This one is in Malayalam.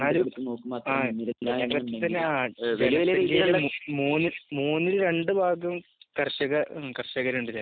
എന്നാലും ആഹ് മൂന്ന് മൂന്നിൽ രണ്ട് ഭാഗത്തും കർഷക കര്ഷകരുണ്ട്.